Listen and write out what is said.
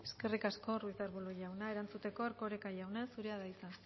eskerrik asko ruiz de arbulo jauna erantzuteko erkoreka jauna zurea da hitza